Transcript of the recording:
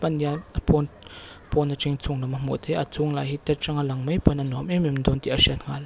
pawn atangin chhung lam a lang theih a a chhung lah hi ta tang a lang mai pawn a nuam em em dawn tih a hriat nghal.